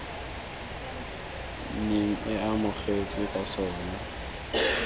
neng e amogetswe ka sona